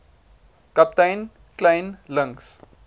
kaptein kleyn links